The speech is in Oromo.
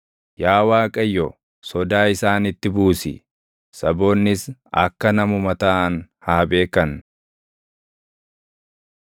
Yaa Waaqayyo, sodaa isaanitti buusi; saboonnis akka namuma taʼan haa beekan.